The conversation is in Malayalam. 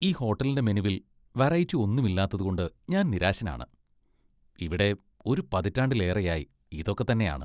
ഈ ഹോട്ടലിന്റെ മെനുവിൽ വെറൈറ്റി ഒന്നുമില്ലാല്ലാത്തതുകൊണ്ട് ഞാൻ നിരാശനാണ്, ഇവിടെ ഒരു പതിറ്റാണ്ടിലേറെയായി ഇത് ഒക്കെ തന്നെയാണ്.